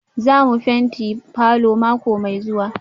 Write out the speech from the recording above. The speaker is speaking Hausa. Za mu fenti falor mako mai zuwa?